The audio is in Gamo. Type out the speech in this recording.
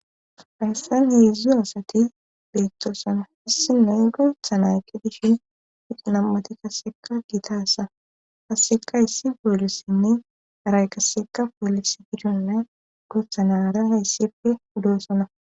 Fayssan heeedzdzu asati beettoossana hissi noy gultha nayki dishin hiqinammati kasseka gitasa hasseka hyssi boolissinne aray kasseka polis gidonne guthanara hayssife udoossona